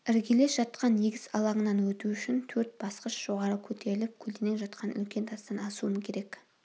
іргелес жатқан егіс алаңынан өту үшін төрт басқыш жоғары көтеріліп көлденең жатқан үлкен тастан асуым керек